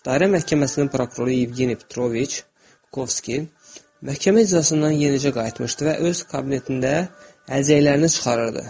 Dairə Məhkəməsinin prokuroru Yevgeniy Petroviç Volkovskiy məhkəmə iclasından yenicə qayıtmışdı və öz kabinetində əlcəklərini çıxarırdı.